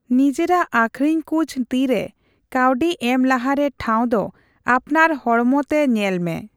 ᱱᱤᱡᱮᱨᱟᱜ ᱟᱹᱠᱷᱚᱨᱤᱧᱠᱩᱡ ᱛᱤᱨᱮ ᱠᱟᱹᱣᱰᱤ ᱮᱢ ᱞᱟᱦᱟᱨᱮ ᱴᱷᱟᱹᱣ ᱫᱚ ᱟᱯᱱᱟᱨ ᱦᱚᱲᱢᱚ ᱛᱮ ᱧᱮᱞ ᱢᱮ᱾